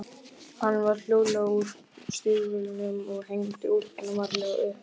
Hann fór hljóðlega úr stígvélunum og hengdi úlpuna varlega upp.